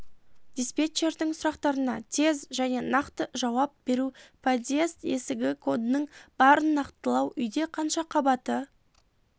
диспетчердің сұрақтарына тез және нақты жаауап беру подъезд есігі кодының барын нақтылау үйде қанша қабаты